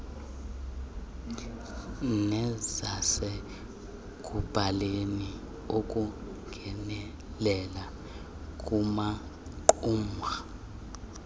nezasekuhlaleni ukungenelela kumaqumrhu